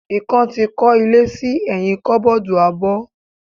Ikan ti kó ilé sí ẹyin koboodu abó.